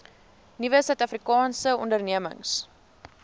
nuwe suidafrikaanse ondernemings